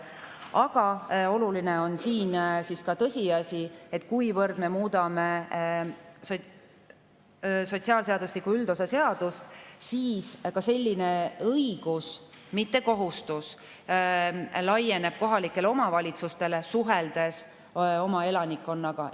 Aga oluline on ka tõsiasi, et kuivõrd me muudame sotsiaalseadustiku üldosa seadust, siis selline õigus – mitte kohustus – laieneb ka kohalikele omavalitsustele suhtlemisel oma elanikega.